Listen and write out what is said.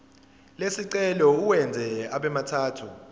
lesicelo uwenze abemathathu